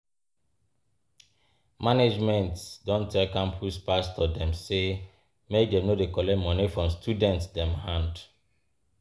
Management don tell campus pastor dem sey make dem no dey collect moni from student dem hand.